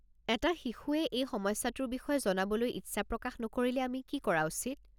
এটা শিশুৱে এই সমস্যাটোৰ বিষয়ে জনাবলৈ ইচ্ছা প্ৰকাশ নকৰিলে আমি কি কৰা উচিত?